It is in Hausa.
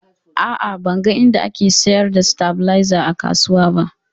A'a, ban ga inda ake sayar da stabilizer a kasuwa ba